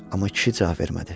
Amma kişi cavab vermədi.